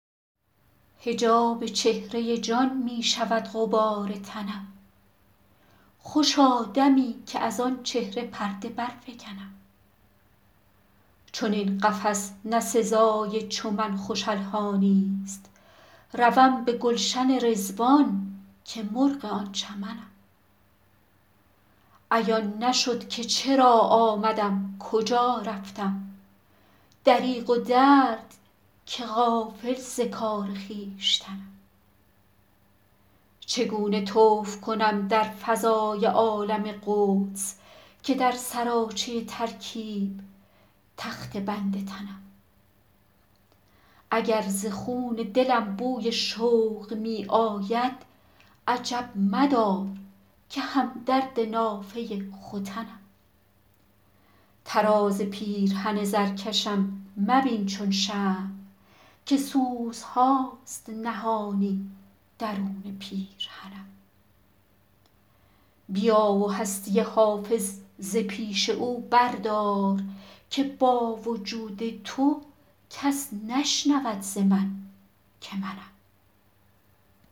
حجاب چهره جان می شود غبار تنم خوشا دمی که از آن چهره پرده برفکنم چنین قفس نه سزای چو من خوش الحانی ست روم به گلشن رضوان که مرغ آن چمنم عیان نشد که چرا آمدم کجا رفتم دریغ و درد که غافل ز کار خویشتنم چگونه طوف کنم در فضای عالم قدس که در سراچه ترکیب تخته بند تنم اگر ز خون دلم بوی شوق می آید عجب مدار که هم درد نافه ختنم طراز پیرهن زرکشم مبین چون شمع که سوزهاست نهانی درون پیرهنم بیا و هستی حافظ ز پیش او بردار که با وجود تو کس نشنود ز من که منم